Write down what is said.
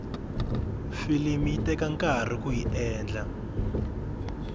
filimi yi teka nkarhi kuyi endla